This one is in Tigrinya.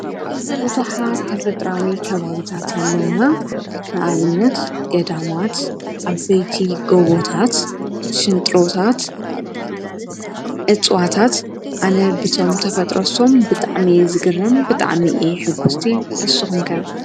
ብዙሓት ተፈጥሮኣዊ ከባቢታት ኣለውና። ንኣብነት ገዳማት፣ ዓበይቲ ጎቦታት፣ ሽንጥሮታት ፣እፅዋታት ኣነ ብቶም ተፈጥሮ እሶም ብጣዕሚ እየ ዝገርም ብጣዕሚ እየ ሕጉስቲ ንስኹምከ?